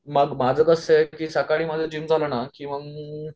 माझं कसंय की सकाळी माझं जिम झालं ना की मंग